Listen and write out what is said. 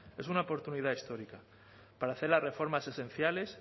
es una oportunidad histórica para hacer las reformas esenciales